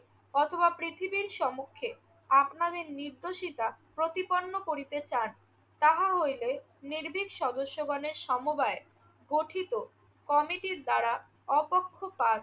অথবা পৃথিবীর সমুক্ষে আপনাদের নির্দোষিতা প্রতিপন্ন করিতে চান তাহা হইলে নির্ভীক সদস্যগণের সমবায়ে গঠিত কমিটির দ্বারা অপক্ষপাত